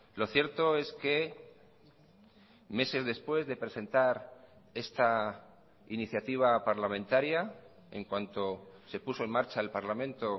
lo cierto es que meses después de presentar esta iniciativa parlamentaria en cuanto se puso en marcha el parlamento